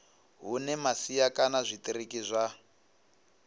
hune masia kana zwitiriki zwa